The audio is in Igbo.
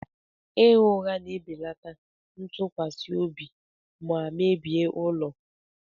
Ịgha ụgha na-ebelata ntụkwasị obi ma mebie ụlọ.